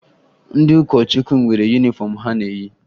Ndị ụkọchukwu nwere yunifọmụ ha na-eyi